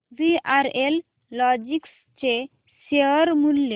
VRL logistics चे share मूल्य